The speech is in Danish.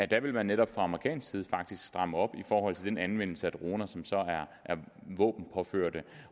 der vil man netop fra amerikansk side faktisk stramme op i forhold til den anvendelse af droner som er våbenpåførte